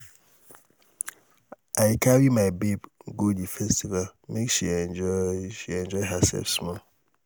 i go carry my babe go di festival make she enjoy she enjoy hersef small.